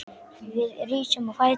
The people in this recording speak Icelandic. Við rísum á fætur.